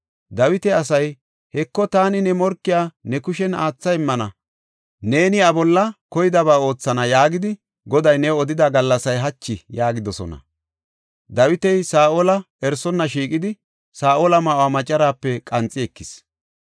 Dawita asay, “ ‘Heko, taani ne morkiya ne kushen aatha immana; neeni iya bolla koydaba oothana’ yaagidi Goday new odida gallasay hachi” yaagidosona. Dawiti Saa7ola erisonna shiiqidi Saa7ola ma7uwa macaraape qanxi ekis.